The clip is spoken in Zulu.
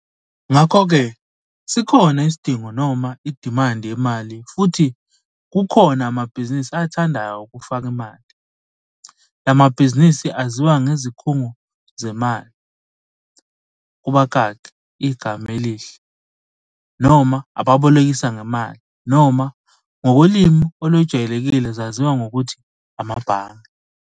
Ngakho ke, sikhona isidingo noma idimandi yemali futhi kukhona amabhizinisi athandayo ukufaka imali. La mabhizinisi aziwa ngezikhungo zezimali, kubakaki, igama elihle, noma ababolikesa ngemali, noma ngokolimi olwejwayelekile zaziwa ngokuthi amabhange.